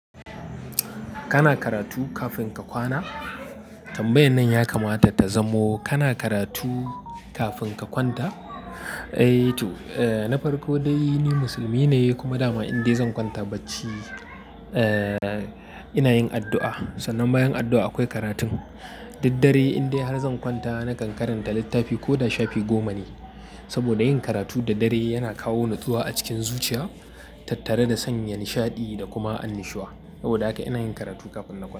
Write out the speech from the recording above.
Kana karatu kafin ka kwana? Tambayan nan ya kamata ta zamo kana karatu kafin ka kwanta? Eh to, eh na farko dai ni musulmi ne kuma dama indai zan kwanta bacci, eh ina yin addu'a. Sannan bayan addu'a akwai karatun. Duk dare indai har zan kwanta na kan karanta littafi ko da shafi goma ne. Saboda yin karatu da dare yana kawo natsuwa a cikin zuciya, tattare da sanya nishaɗi da kuma annushuwa. Saboda haka ina yin karatu kafin na kwana.